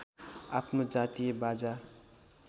आफ्नो जातीय बाजा